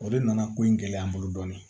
O de nana ko in gɛlɛya n bolo dɔɔnin